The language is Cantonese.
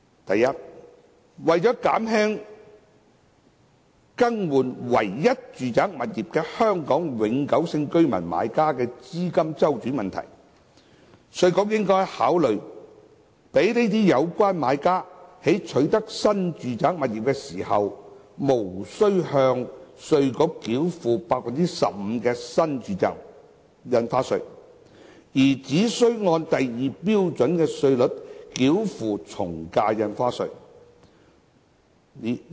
第一，為減輕更換唯一住宅物業的香港永久性居民買家的資金周轉問題，稅務局應該考慮讓有關買家在取得新住宅物業時，無須向稅務局繳付 15% 的新住宅印花稅，而只須先按第2標準稅率繳付從價印花稅。